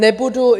Nebudu...